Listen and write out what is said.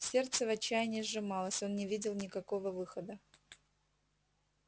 сердце в отчаянии сжималось он не видел никакого выхода